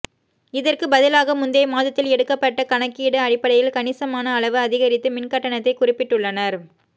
இதற்கு பதிலாக முந்தைய மாதத்தில் எடுக்கப்பட்ட கணக்கீடு அடிப்படையில் கணிசமான அளவு அதிகரித்து மின்கட்டணத்தை குறிப்பிட்டுள்ளனா்